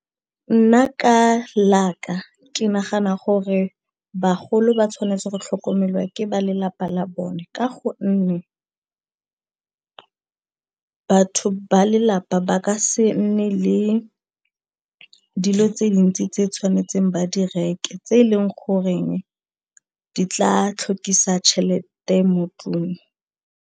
Nna ka la ka ke nagana gore bagolo ba tshwanetse go tlhokomelwa ke ba lelapa la bone ka gonne batho ba lelapa ba ka se nne le dilo tse dintsi tse tshwanetseng ba di reke tse e leng goreng di tla tlhokisa tšhelete mo ntlong.